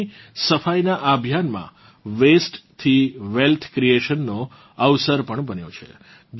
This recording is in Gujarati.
નદીની સફાઇનાં આ અભિયાનમાં વસ્તે થી વેલ્થ ક્રિએશન નો અવસર પણ બન્યો છે